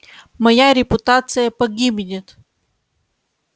моя репутация погибнет